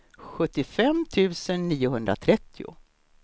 sjuttiofem tusen niohundratrettio